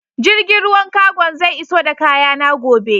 Jirgin ruwan cargon zai iso da kayana gobe.